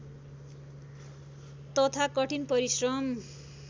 तथा कठिन परिश्रम